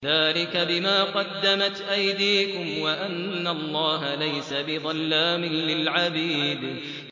ذَٰلِكَ بِمَا قَدَّمَتْ أَيْدِيكُمْ وَأَنَّ اللَّهَ لَيْسَ بِظَلَّامٍ لِّلْعَبِيدِ